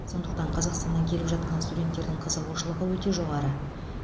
сондықтан қазақстаннан келіп жатқан студенттердің қызығушылығы өте жоғары